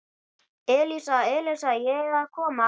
Elísa, Elísa, ég er að koma